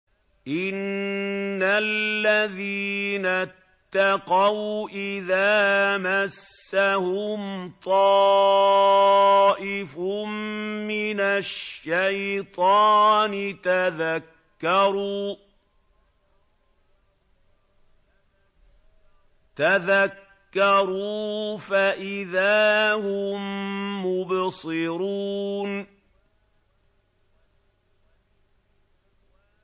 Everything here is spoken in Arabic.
إِنَّ الَّذِينَ اتَّقَوْا إِذَا مَسَّهُمْ طَائِفٌ مِّنَ الشَّيْطَانِ تَذَكَّرُوا فَإِذَا هُم مُّبْصِرُونَ